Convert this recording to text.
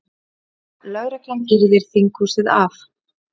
Lögreglan girðir þinghúsið af